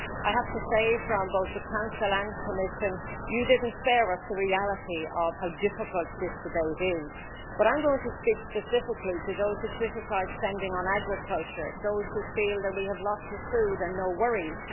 I have to say, from both the Council and Commission, you didn't spare us the reality of how difficult this debate is, but I'm going to speak specifically to those who criticise spending on agriculture those who feel that we have lots of food and no worries.